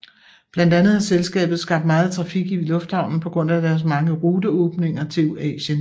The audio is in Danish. Blandt andet har selskabet skabt meget trafik i lufthavnen på grund af deres mange ruteåbninger til Asien